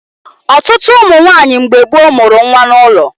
Ọtụtụ ụmụ nwaanyị mgbe gboo mụrụ nwa n'ụlọ